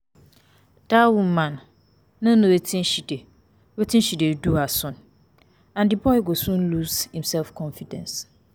Dat woman no know wetin she dey wetin she dey do her son and the boy go soon lose im self confidence